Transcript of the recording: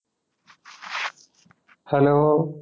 Hello